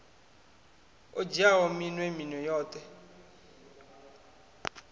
o dzhiaho minwe minwe yoṱhe